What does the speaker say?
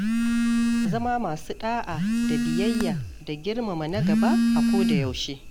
Zama masu ɗa'a da biyayya da girmama na gaba a koda yaushe.